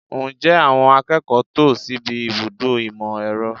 Ǹjẹ́ àwọn akẹ́kọ̀ọ́ tò síbi ibùdó ìmọ̀ - ẹ̀rọ?